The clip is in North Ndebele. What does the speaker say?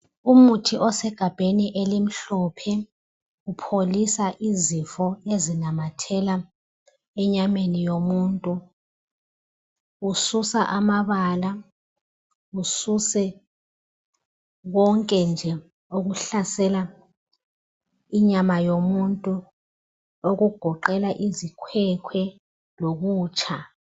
Umithi osegambeni elimhlophe uyelapha izifo ezinamathela enyameni yomuntu ususa amabala ususe konke nje okuhlasela inyama yomuntu okugoqela izikhwekhwe lokutsha